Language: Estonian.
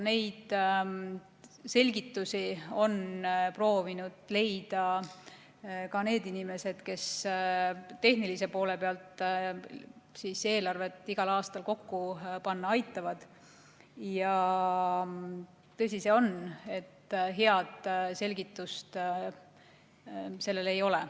Selgitusi on proovinud leida ka need inimesed, kes tehnilise poole pealt eelarvet igal aastal kokku panna aitavad, ja tõsi on see, et head selgitust sellele ei ole.